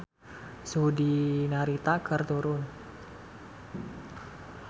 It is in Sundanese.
Suhu di Narita keur turun